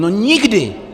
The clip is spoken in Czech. No nikdy!